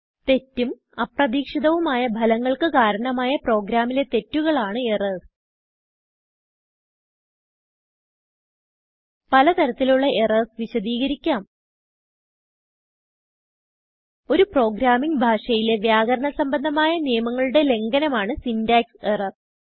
തെറ്റും അപ്രതീക്ഷിതവുമായ ഭലങ്ങൾക്ക് കാരണമായ പ്രോഗ്രാമിലെ തെറ്റുകൾ ആണ് എറർസ് പല തരത്തിലുള്ള എറർസ് വിശദികരിക്കാം ഒരു പ്രോഗ്രാമിംഗ് ഭാഷയിലെ വ്യാകരണ സംബന്ധമായ നിയമങ്ങളുടെ ലംഘനമാണ് സിന്റാക്സ് എറർ